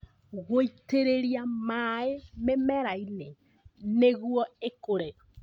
Gwĩitĩrĩria maĩ mĩmera -inĩ nĩguo ikũre